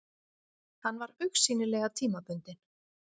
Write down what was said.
Hann var augsýnilega tímabundinn.